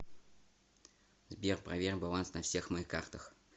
сбер проверь баланс на всех моих картах